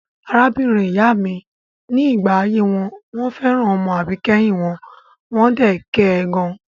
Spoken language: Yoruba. Arábìnrin ìyá mi ní ìgbà ayé wọn fẹ́ràn ọmọ àbíkẹ́yìn wọn, wọ́n dẹ̀ kẹ gan.